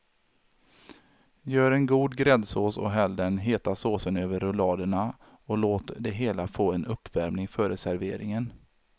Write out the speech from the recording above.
Gör en god gräddsås och häll den heta såsen över rulladerna och låt det hela få en uppvärmning före serveringen.